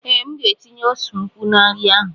Ee, M ga-etinye ose ukwuu na nri ahụ.